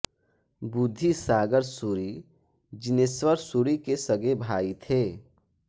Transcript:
बुद्धिसागर सूरि जिनेश्वर सूरि के सगे भाई थे